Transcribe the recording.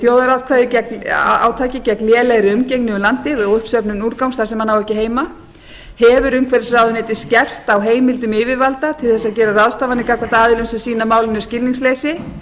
þjóðarátaki gegn lélegri umgengni um landið og uppsöfnun úrgangs þar sem hann á ekki heima hefur umhverfisráðuneytið skerpt á heimildum yfirvalda til þess að gera ráðstafanir gagnvart aðilum sem sýna málinu skilningsleysi